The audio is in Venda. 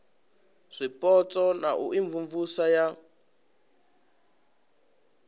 zwipotso na u imvumvusa ya